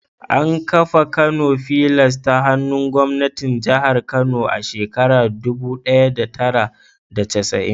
An kafa Kano fillars ta hannun gwamnatin jihar Kano a shekarar dubu daya da tara da casa'in.